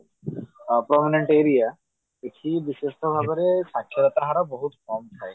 permanent area ଏହି ବିଶେଷ ଭାବରେ ସାକ୍ଷାରତ ହାର ବହୁତ କମ ଥାଏ